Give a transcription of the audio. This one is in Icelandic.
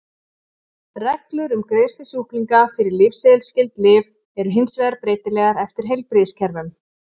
Reglur um greiðslu sjúklinga fyrir lyfseðilsskyld lyf eru hins vegar breytilegar eftir heilbrigðiskerfum.